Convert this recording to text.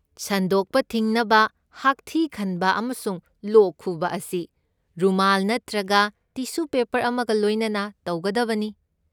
ꯁꯟꯗꯣꯛꯄ ꯊꯤꯡꯅꯕ, ꯍꯥꯛꯊꯤ ꯈꯟꯕ ꯑꯃꯁꯨꯡ ꯂꯣꯛ ꯈꯨꯕ ꯑꯁꯤ ꯔꯨꯃꯥꯜ ꯅꯠꯇ꯭ꯔꯒ ꯇꯤꯁꯨ ꯄꯦꯄꯔ ꯑꯃꯒ ꯂꯣꯏꯅꯅ ꯇꯧꯒꯗꯕꯅꯤ꯫